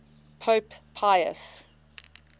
pope pius